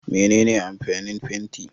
Mene amfanin fenti